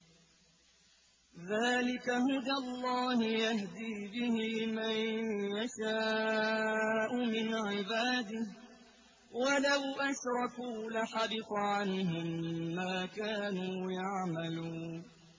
ذَٰلِكَ هُدَى اللَّهِ يَهْدِي بِهِ مَن يَشَاءُ مِنْ عِبَادِهِ ۚ وَلَوْ أَشْرَكُوا لَحَبِطَ عَنْهُم مَّا كَانُوا يَعْمَلُونَ